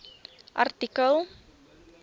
artikel